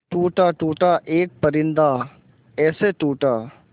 टूटा टूटा एक परिंदा ऐसे टूटा